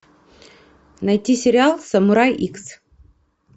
найти сериал самурай икс